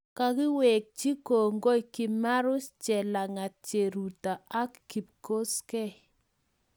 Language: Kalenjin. kakiwekchi kongoi kimarus, chelangat ,cheruto ak kikosgei